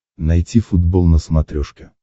найти футбол на смотрешке